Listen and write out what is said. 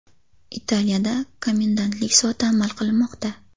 Italiyada komendantlik soati amal qilmoqda.